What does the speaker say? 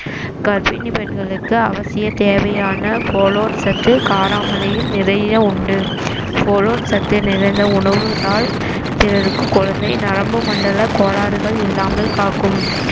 கர்ப்பிணி பெண்களுக்கு அவசிய தேவையான சத்து காராமிலையில் நிறைய உண்டு சத்து நிறைந்த உணவுத்தான் பிறருக்கு குழந்தை நரம்பு மண்டல கோளாறுகள் இல்லாமல் காக்கும்